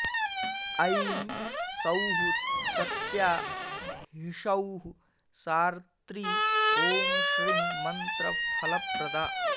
ऐं सौः सत्या ह्सौः सार्त्री ॐ श्रीं मन्त्रफलप्रदा